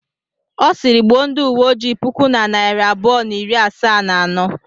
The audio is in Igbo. Ọ sịịrị, gbuo ndị uwe ojii puku na narị abụọ na iri asaa na anọ.